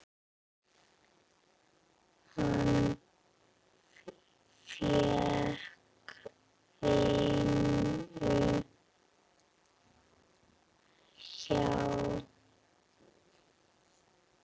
Hann fékk vinnu hjá